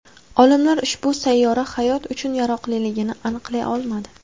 Olimlar ushbu sayyora hayot uchun yaroqliligini aniqlay olmadi.